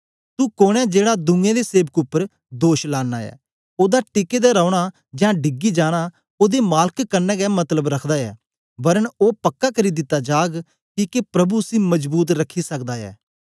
तू कोन ऐ जेड़ा दुए दे सेवक उपर दोष लाना ऐ ओदा टिके दा रौना जां डिगी जाना ओदे मालक कन्ने गै मतलब रखदा ऐ वरन ओ पक्का करी दिता जाग किके प्रभु उसी मजबूत रखी सकदा ऐ